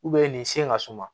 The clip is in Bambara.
nin sen ka suman